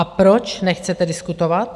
A proč nechcete diskutovat?